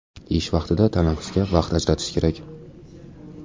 Ish vaqtida tanaffusga vaqt ajratish kerak.